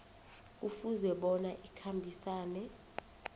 kufuze bona ikhambisane